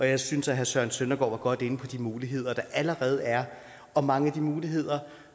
jeg synes at herre søren søndergaard var godt inde på de muligheder der allerede er og mange af de muligheder